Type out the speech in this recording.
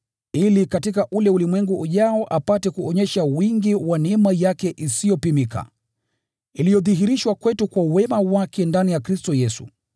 ili katika ule ulimwengu ujao apate kuonyesha wingi wa neema yake isiyopimika, iliyodhihirishwa kwetu kwa wema wake ndani ya Kristo Yesu.